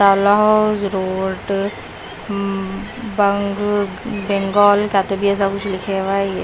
ताला house road अ बेन बेंगाल क्या तो भी ऐसा लिखे हुए हैं ये --